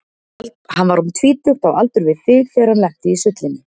Hann var um tvítugt, á aldur við þig, þegar hann lenti í sullinu.